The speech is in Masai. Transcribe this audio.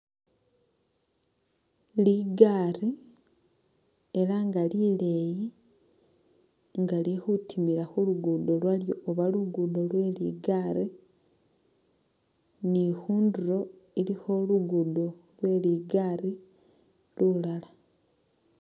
Ligari ela nga lileyi nga lili khutimila khulugudo lwalyo oba lugudo lwe ligari ni khunduro ilikho lugudo lwe ligari lulala